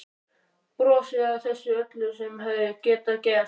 Brosi að þessu öllu sem hefði getað gerst.